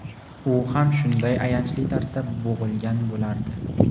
u ham shunday ayanchli tarzda bo‘g‘ilgan bo‘lardi.